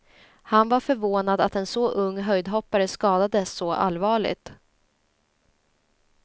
Han var förvånad att en så ung höjdhoppare skadades så allvarligt.